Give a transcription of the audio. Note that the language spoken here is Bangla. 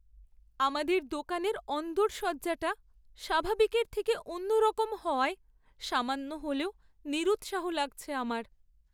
আমাদের দোকানের অন্দরসজ্জাটা স্বাভাবিকের থেকে অন্যরকম হওয়ায় সামান্য হলেও নিরুৎসাহ লাগছে আমার।